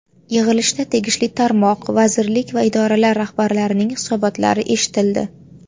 Yig‘ilishda tegishli tarmoq, vazirlik va idoralar rahbarlarining hisobotlari eshitildi.